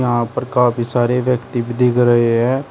यहां पर काफी सारे व्यक्ति दिख रहे हैं।